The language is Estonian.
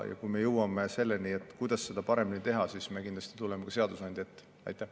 Ja kui me jõuame selleni, kuidas seda paremini teha, siis me kindlasti tuleme sellega ka seadusandja ette.